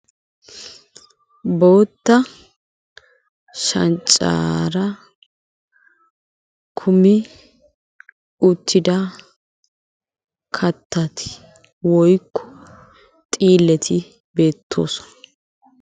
Bootta shanxxaara kuummi uutidda kaattati woykko xiilletti beettosona.